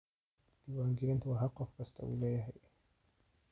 Diiwaangelintu waa xaq qof kasta u leeyahay.